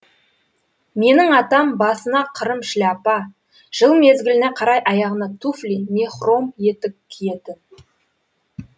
менің атам басына қырым шляпа жыл мезгіліне қарай аяғына туфли не хром етік киетін